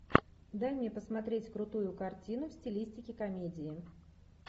дай мне посмотреть крутую картину в стилистике комедии